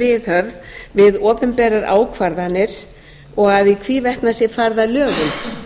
viðhöfð við opinberar ákvarðanir og að í hvívetna sé farið að lögum